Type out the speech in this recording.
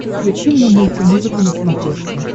включи мне мульти музыка на смотрешке